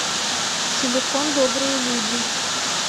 телефон добрые люди